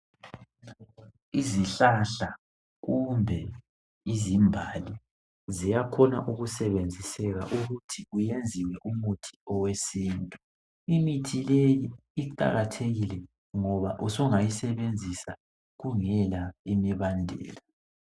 Izihlahla kumbe izimbali ziyakhona ukusebenziseka ukuthi kuyenziwe umuthi owesintu. Imithi leyi iqakathekile ngoba usungayisebenzisa kungela imibandelo.